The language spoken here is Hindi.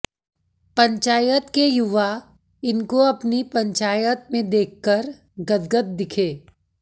पंचायत के युवा इनको अपनी पंचायत में देखकर गदगद दिखे